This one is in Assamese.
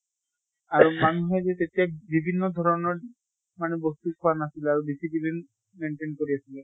আৰু মানুহে যে তেতিয়া বিভিন্ন ধৰণৰ মানে বস্তু খোৱা নাছিলে আৰু discipline maintain কৰি আছিলে।